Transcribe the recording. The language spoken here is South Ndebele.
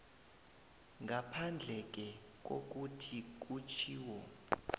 ngaphandleke kokuthi kutjhiwo